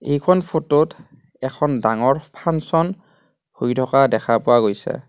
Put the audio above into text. এইখন ফোট ত এখন ডাঙৰ ফাংচন হৈ থকা দেখা পোৱা গৈছে.